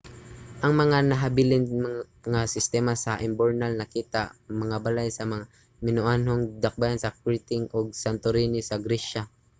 ang mga nahabilin nga sistema sa imburnal nakita sa mga balay sa mga minoanhong dakbayan sa crete ug santorini sa gresya